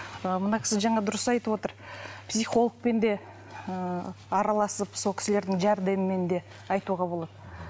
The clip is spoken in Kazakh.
ы мына кісі жаңа дұрыс айтып отыр психологпен де ыыы араласып сол кісілердің жәрдемімен де айтуға болады